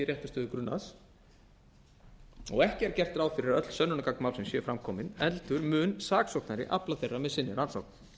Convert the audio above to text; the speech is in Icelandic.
réttarstöðu grunaðra og ekki er gert ráð fyrir að öll sönnunargögn málsins séu fram komin heldur mun saksóknari afla þeirra með sinni rannsókn